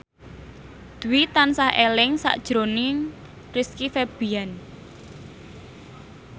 Dwi tansah eling sakjroning Rizky Febian